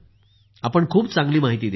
आपण खूप चांगली माहिती दिली आहे